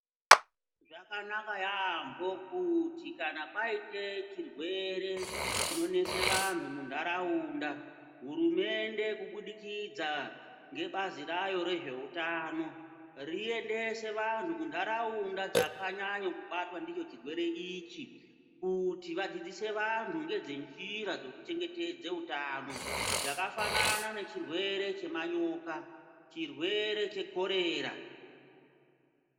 Zvakanaka yamboo kuti kana paite chirwere chinonese vantu mundaraunda, hurumende kubudikidzaa nebazi rayo rezveutano riyendese vantu kundaraunda dzakanyanyobatwa ndicho chirwere ichi kuti vadzidzise vantu ngezvenjira dzekuchengetedze utano, dzakafanana ngechirwere chemanyoka chirwere chekorera.